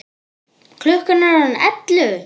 Klukkan er orðin ellefu!